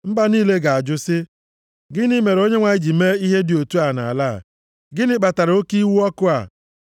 Mba niile ga-ajụ sị, “Gịnị mere Onyenwe anyị ji mee ihe dị otu a nʼala a? Gịnị kpatara oke iwe ọkụ a?”